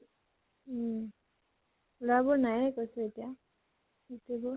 উম । লৰাবোৰ নাইয়ে কৈছো এতিয়া গোটেইবোৰ